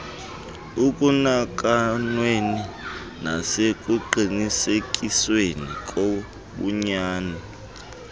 ekunakanweni nasekuqinisekisweni kobunyani